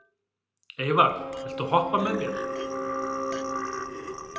Eyvar, viltu hoppa með mér?